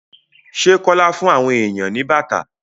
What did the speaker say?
Ṣé Kọ́lá fún àwọn èèyàn ní bàtà?